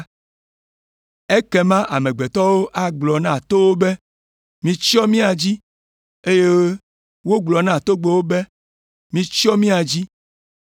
Ekema “ ‘amegbetɔwo agblɔ na towo be, “Mitsyɔ mía dzi!” eye wogblɔ na togbɛwo be, “Mitsyɔ mía dzi!” ’